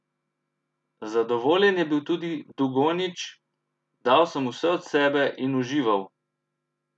Zadovoljen je bil tudi Dugonjić: "Dal sem vse od sebe in užival.